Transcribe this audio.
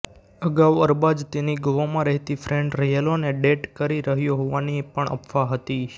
અગાઉ અરબાઝ તેની ગોવામાં રહેતી ફ્રેન્ડ યેલોને ડેટ કરી રહ્યો હોવાની પણ અફવા હતી